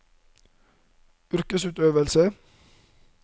yrkesutøvelsen